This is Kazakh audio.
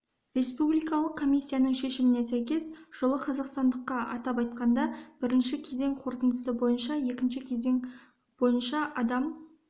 республикалық комиссияның шешіміне сәйкес жылы қазақстандыққа атап айтқанда бірінші кезең қорытындысы бойынша екінші кезең бойынша адам